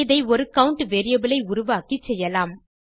இதை ஒரு count variable ஐ உருவாக்கி செய்யலாம்